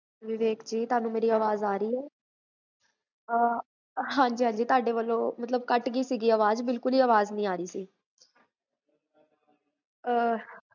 ਵਿਵੇਕ ਜੀ, ਤੁਹਾਨੂ ਮੇਰੀ ਆਵਾਜ਼ ਆ ਰਹੀ ਹੈ? ਹਾਂਜੀ ਹਾਂਜੀ ਤੁਹਾਡੇ ਵੱਲੋ ਕਟ ਗੀ ਸੀਗੀ ਅਵਾਜ, ਬਿਲਕੁਲ ਹੀ ਆਵਾਜ ਨੀ ਆਰੀ ਸੀ